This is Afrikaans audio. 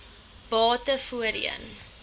bate voorheen